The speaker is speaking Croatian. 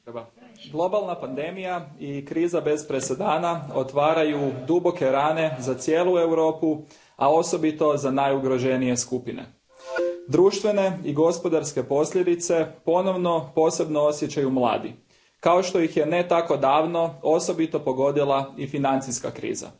Poštovana predsjedavajuća, globalna pandemija i kriza bez presedana otvaraju duboke rane za cijelu Europu, a osobito za najugroženije skupine. Društvene i gospodarske posljedice ponovno posebno osjećaju mladi kao što ih je, ne tako davno, osobito pogodila i financijska kriza.